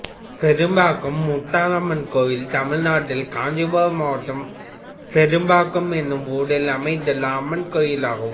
பெரும்பாக்கம் முத்தாலம்மன் கோயில் தமிழ்நாட்டில் காஞ்சிபுரம் மாவட்டம் பெரும்பாக்கம் என்னும் ஊரில் அமைந்துள்ள அம்மன் கோயிலாகும்